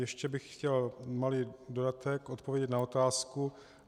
Ještě bych chtěl malý dodatek, odpovědět na otázku.